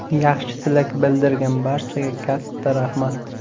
Yaxshi tilak bildirgan barchaga katta rahmat!